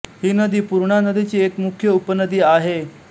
ही नदी पूर्णा नदीची एक मुख्य उपनदी आहे